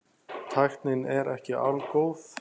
Tæknin er ekki algóð.